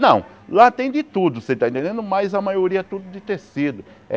Não, lá tem de tudo, você está entendendo mas a maioria é tudo de tecido.